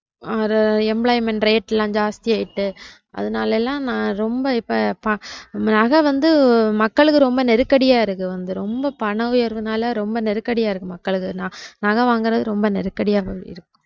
அத employmentrate லாம் ஜாஸ்தியாடுச்சி அதனாலெல்லாம் நான் ரொம்ப இப்போ நகை வந்து மக்களுக்கு ரொம்ப நெருக்கடியா இருக்கு வந்து ரொம்ப பண உயர்வுனால ரொம்ப நெருக்கடியா இருக்கு மக்களுக்கு நகை வாங்குறது ரொம்ப நெருக்கடியா போகுது